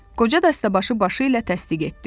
Qoca dəstəbaşı başı ilə təsdiq etdi.